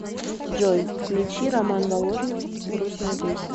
джой включи роман воложнев грустная песня